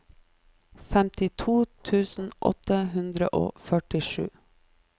femtito tusen åtte hundre og førtisju